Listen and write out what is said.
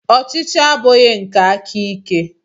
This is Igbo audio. Ọchịchị abụghị nke aka ike.